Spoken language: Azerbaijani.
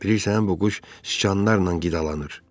Bilirsən, bu quş siçanlarla qidalanır.